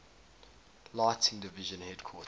lighting division headquarters